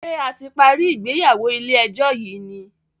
ṣe a ti parí ìgbéyàwó ilé ejó yi ní?